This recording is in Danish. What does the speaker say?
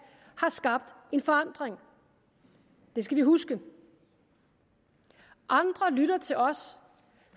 har skabt en forandring det skal vi huske andre lytter til os